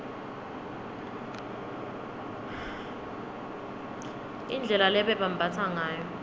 indlela lebebambatsa ngayo